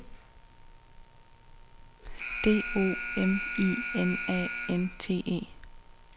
D O M I N A N T E